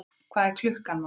Hvað er klukkan, mamma?